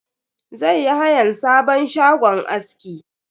Zai yi hayan sabon shagon aski.